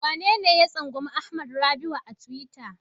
Wanene ya tsangwami Hamad Rabi'u a tiwita?